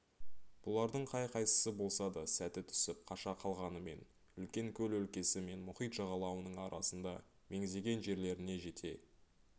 бұлардың қай-қайсысы болса да сәті түсіп қаша қалғанымен үлкен көл өлкесі мен мұхит жағалауының арасында меңзеген жерлеріне жете